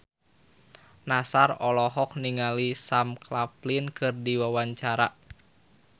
Nassar olohok ningali Sam Claflin keur diwawancara